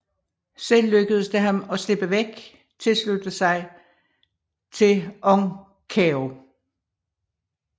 Selv lykkedes det ham at slippe væk og tilslutte sig til Ong Kaeo